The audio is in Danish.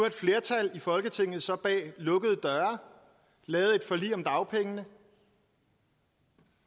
et flertal i folketinget så bag lukkede døre lavet et forlig om dagpengene